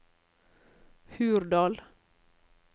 Hurdal